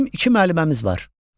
Bizim iki müəlliməmiz var.